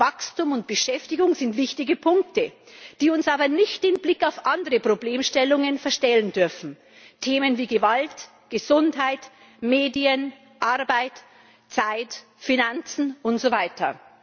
Wachstum und Beschäftigung sind wichtige Punkte, die uns aber nicht den Blick auf andere Problemstellungen verstellen dürfen Themen wie Gewalt, Gesundheit, Medien, Arbeit, Zeit, Finanzen und so weiter.